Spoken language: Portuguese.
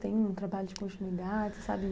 Tem um trabalho de continuidade, sabe?